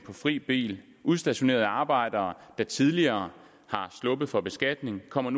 fri bil og udstationerede arbejdere der tidligere er sluppet for beskatning kommer